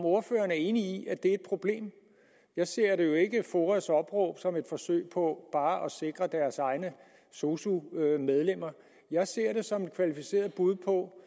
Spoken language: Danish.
ordføreren enig i at det er et problem jeg ser jo ikke foas opråb som et forsøg på bare at sikre deres egne sosu medlemmer jeg ser det som et kvalificeret bud på